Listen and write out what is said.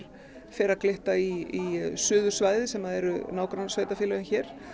fer að glitta í suðursvæðið sem eru nágrannasveitarfélögin hér